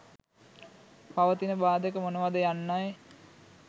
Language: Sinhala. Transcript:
පවතින බාධක මොනවාද යන්නයි.